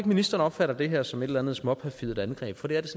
ministeren opfatter det her som et eller andet småperfidt angreb for det er det